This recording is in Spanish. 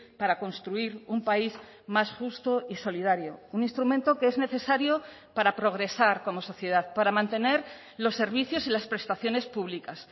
para construir un país más justo y solidario un instrumento que es necesario para progresar como sociedad para mantener los servicios y las prestaciones públicas